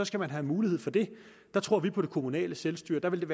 skal man have mulighed for det der tror vi på det kommunale selvstyre der ville